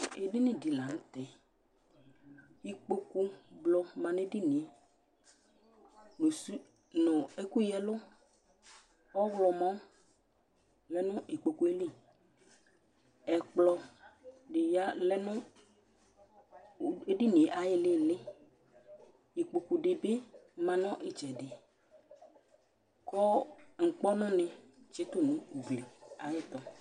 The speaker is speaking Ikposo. Ɛɖiŋi di la ŋtɛ Ikpoku blɔ ma ŋu ɛɖìníe ŋu ɛku ya ɛlu ɔwlɔmɔ lɛŋʋ ŋu ikpokue ayìlí Ɛkplɔ ya ŋu ɛɖìníe ayʋ ìlí ìlí Ikpoku ɖìbí ma ŋu itsɛɖi kʋ ʋkpɔnu ni tsitu ŋu ʋgli ayʋ ɛtu